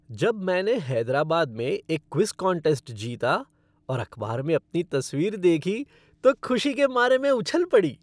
जब मैंने हैदराबाद में एक क्विज़ कॉन्टेस्ट जीता और अखबार में अपनी तस्वीर देखी तो खुशी के मारे मैं उछल पड़ी।